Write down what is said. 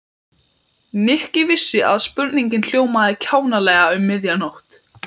Nikki vissi að spurningin hljómaði kjánalega um miðja nótt.